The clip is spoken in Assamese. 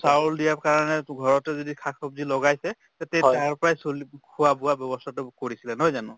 চাউল দিয়াৰ কাৰণে to ঘৰতে যদি শাক ছব্জি লগাইছে তে তাৰ পৰাই চলিব খোৱা-বোৱা ব্যৱস্থাতো কৰিছিলে নহয় জানো